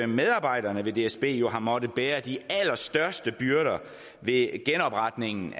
medarbejderne ved dsb jo har måttet bære de allerstørste byrder ved genopretningen